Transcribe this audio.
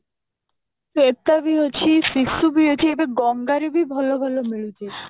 ଶ୍ଵେତା ବି ଅଛି ଶିଶୁ ବି ଅଛି ଗଙ୍ଗା ରେ ବି ଭଲ ଭଲ ମିଳୁଛି